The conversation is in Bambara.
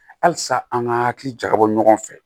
Halisa an ka hakili jakabɔ ɲɔgɔn fɛ